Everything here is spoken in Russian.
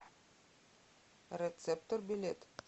рецептор билет